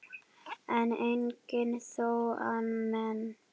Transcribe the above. en engum þó að meini